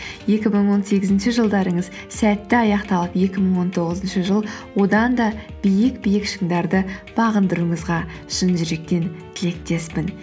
екі мың он сегізінші жылдарыңыз сәтті аяқталып екі мың он тоғызыншы жыл одан да биік биік шыңдарды бағындыруыңызға шын жүректен тілектеспін